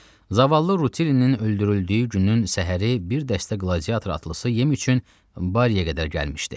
Zavallı Rutillinin öldürüldüyü günün səhəri bir dəstə qladiatır atlısı yem üçün Barya qədər gəlmişdi.